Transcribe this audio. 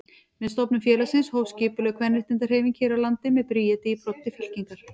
Með stofnun félagsins hófst skipulögð kvenréttindahreyfing hér á landi með Bríeti í broddi fylkingar.